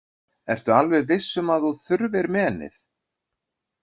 Ertu alveg viss um að þú þurfir menið?